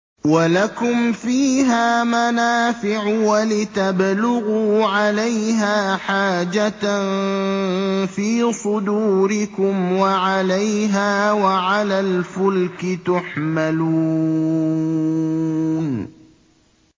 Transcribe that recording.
وَلَكُمْ فِيهَا مَنَافِعُ وَلِتَبْلُغُوا عَلَيْهَا حَاجَةً فِي صُدُورِكُمْ وَعَلَيْهَا وَعَلَى الْفُلْكِ تُحْمَلُونَ